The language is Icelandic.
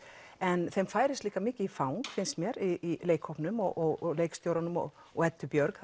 en þeim færist líka mikið í fang finnst mér í leikhópnum og leikstjóranum og og Eddu Björg